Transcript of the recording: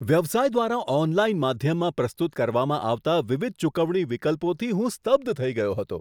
વ્યવસાય દ્વારા ઓનલાઇન માધ્યમમાં પ્રસ્તુત કરવામાં આવતા વિવિધ ચુકવણી વિકલ્પોથી હું સ્તબ્ધ થઈ ગયો હતો.